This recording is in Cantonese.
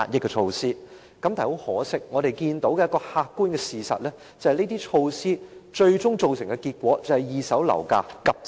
但是，很可惜，客觀事實是，該等措施最終只是令二手樓價急升。